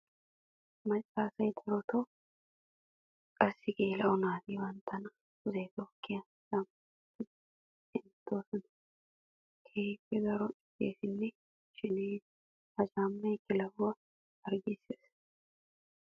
Macca asay darotto qassi geela'o naati banttanna pudde tookkiya caama wottiddi hemettiyoode keehippe daro iittesinne sheneyees. Ha caamay kilahuwaa harggisees.